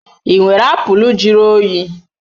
Ị nwere apụl juru oyi?